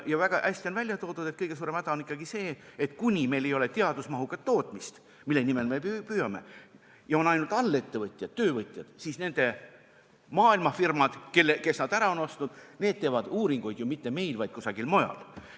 Väga hästi on esile toodud, et kõige suurem häda on ikkagi see: seni kuni meil ei ole teadusmahukat tootmist, mille nimel me püüame, ja on ainult allettevõtjad, alltöövõtjad, siis maailmafirmad, kes on nad ära ostnud, teevad uuringuid – ja mitte meil, vaid kusagil mujal.